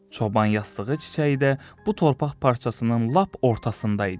Çoban yastığı çiçəyi də bu torpaq parçasının lap ortasında idi.